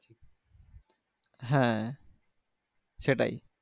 হ্যাঁ সেটাই